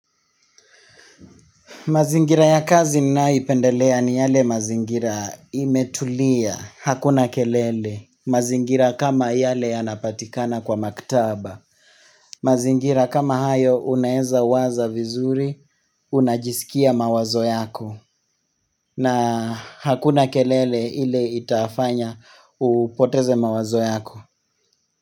Mazingira ya kazi ninayoipendelea ni yale mazingira imetulia, hakuna kelele. Mazingira kama yale yanapatikana kwa maktaba. Mazingira kama hayo una eza waza vizuri, una jiskia mawazo yako. Na hakuna kelele ile itafanya upoteze mawazo yako.